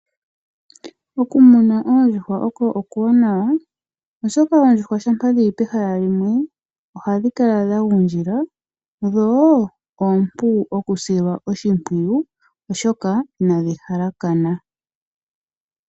Okumuna oondjuhwa oko okuwanawa oshoka oondjuhwa shampa dhili pehala limwe ohadhi kala dha gundjila, dho oompu okusilwa oshimpwiyu oshoka inadhi halakana.